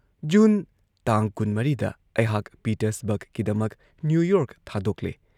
June ꯇꯥꯡ ꯀꯨꯟꯃꯔꯤꯗ ꯑꯩꯍꯥꯛ ꯄꯤꯇꯔꯁꯕꯔꯒꯀꯤꯗꯃꯛ ꯅ꯭ꯌꯨ ꯌꯣꯔꯛ ꯊꯥꯗꯣꯛꯂꯦ ꯫